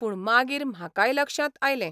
पूण मागीर म्हाकाय लक्षांत आयलें.